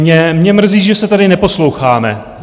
Mě mrzí, že se tady neposloucháme.